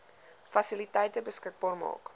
fasiliteite beskikbaar maak